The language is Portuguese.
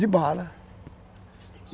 De bala.